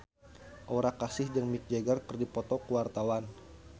Aura Kasih jeung Mick Jagger keur dipoto ku wartawan